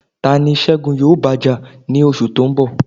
Ta ni Segun yóò bá jà ní oṣù tó ń bọ̀?